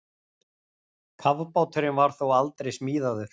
Kafbáturinn var þó aldrei smíðaður.